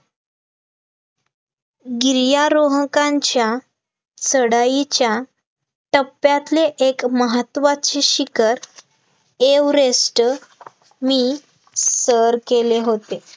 गिर्यारोहकांच्या चढाईच्या, टप्प्यातले एक महत्वाचे शिखर एव्हरेस्ट मी सर केले होते